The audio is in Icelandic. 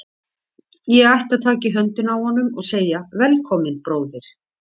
Ég ætti að taka í höndina á honum og segja: Velkominn, bróðir.